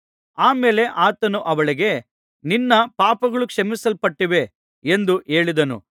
ಆ ಮೇಲೆ ಆತನು ಅವಳಿಗೆ ನಿನ್ನ ಪಾಪಗಳು ಕ್ಷಮಿಸಲ್ಪಟ್ಟಿವೆ ಎಂದು ಹೇಳಿದನು